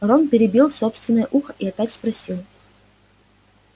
рон потеребил собственное ухо и опять спросил